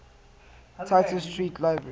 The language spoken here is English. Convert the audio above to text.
tite street library